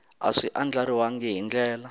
a swi andlariwangi hi ndlela